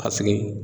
A sigi